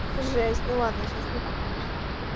жесть ну ладно сейчас не так смешно